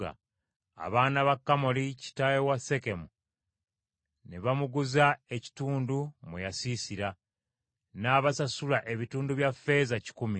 Abaana ba Kamoli kitaawe wa Sekemu ne bamuguza ekitundu mwe yasiisira, n’abasasula ebitundu bya ffeeza kikumi.